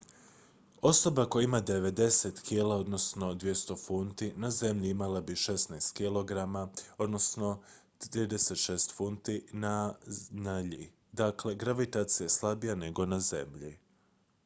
osoba koja ima 90 kg 200 funti na zemlji imala bi 16 kg 36 funti na iji. dakle gravitacija je slabija nego na zemlji